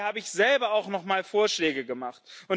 Daher habe ich selber auch noch mal Vorschläge gemacht.